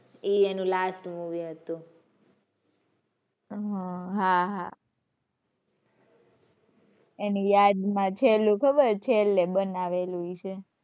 એ એનું last movie હતું. હમ્મ હાં હાં એની યાદ માં છેલ્લું ખબર છેલ્લે બનાવેલું હશે.